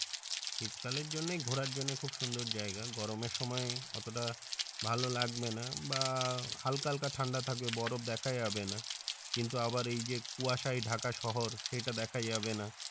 শীতকালের জন্যই ঘোড়ার জন্যই খুব সুন্দর জাইগা গরমের সময় অতটা ভালো লাগবে না বা হাল্কা হাল্কা ঠাণ্ডা থাকবে বরফ দ্যাখা যাবে না কিন্তু আবার এই যে কুয়াশায় ঢাকা শহর সেইটা আবার দ্যাখা যাবে না